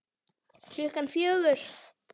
Klukkan fjögur?